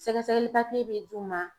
Sɛgɛsɛgɛli papiye bɛ d'u ma